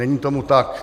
Není tomu tak.